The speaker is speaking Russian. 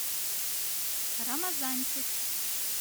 рамазанчик